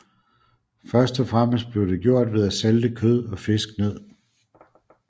Først og fremmest blev det gjort ved at salte kød og fisk ned